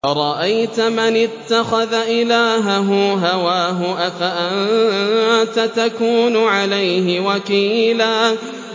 أَرَأَيْتَ مَنِ اتَّخَذَ إِلَٰهَهُ هَوَاهُ أَفَأَنتَ تَكُونُ عَلَيْهِ وَكِيلًا